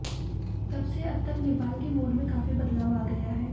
तब से अब तक नेपाल के मूड में काफी बदलाव आ गया है